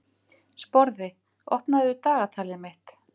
Sporði, opnaðu dagatalið mitt.